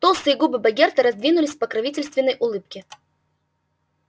толстые губы богерта раздвинулись в покровительственной улыбке